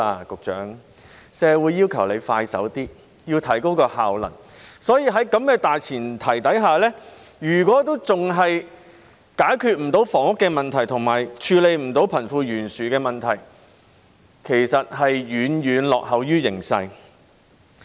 局長，社會要求政府做事爽快些，要提高效能，所以，在這大前提下，如果政府仍未能解決房屋問題，以及未能處理貧富懸殊的問題，那它其實便是遠遠落後於形勢。